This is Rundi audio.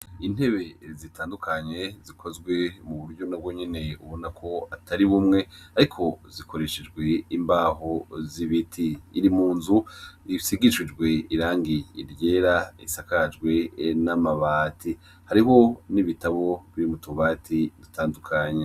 Intebe zitandukanye zikozwe mu buryo no bwo nyene ubona ko atariw umwe, ariko zikoreshejwe imbaho z'ibiti iri mu nzu ifsigishujwe irangi iryera isakajwe n'amabati hariho n'ibitabo vy'imutobati dutandukanye.